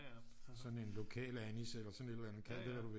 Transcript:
Sådan en lokalanis eller sådan et eller andet kald det hvad du vil